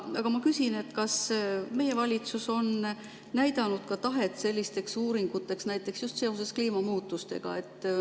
Aga ma küsin, kas meie valitsus on näidanud tahet sellisteks uuringuteks, näiteks just seoses kliimamuutustega.